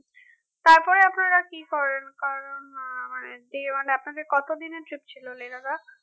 তারপর আপনারা আর কি করেন কারণ আহ মানে day one আপনাদের কত দিনের trip ছিল Lehladakh